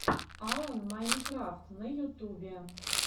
алан майнкрафт на ютубе